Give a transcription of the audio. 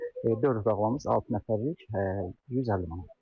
Dörd otaqlımız altı nəfərlik 150 manatdır.